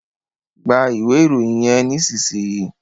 Gbà iwe Ìròyìn yén nísìsiyìí!